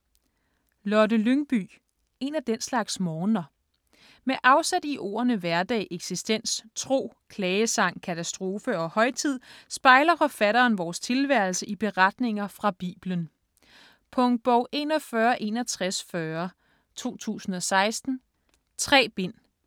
Lyngby, Lotte: En af den slags morgener Med afsæt i ordene hverdag, eksistens, tro, klagesang, katastrofe og højtid, spejler forfatteren vores tilværelse i beretninger fra Bibelen. Punktbog 416140 2016. 3 bind.